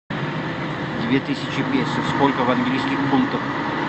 две тысячи песо сколько в английских фунтах